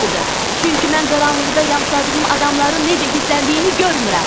Çünki mən qaranlıqda yamsıladığım adamların necə hiss elədiyini görmürəm.